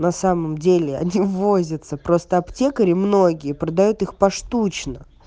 на самом деле они возятся просто аптекари многие продают их поштучно